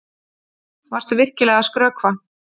Varstu virkilega að skrökva?